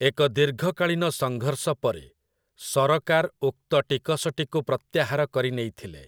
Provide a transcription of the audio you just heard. ଏକ ଦୀର୍ଘକାଳୀନ ସଂଘର୍ଷ ପରେ, ସରକାର ଉକ୍ତ ଟିକସଟିକୁ ପ୍ରତ୍ୟାହାର କରିନେଇଥିଲେ ।